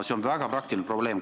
See on väga praktiline probleem.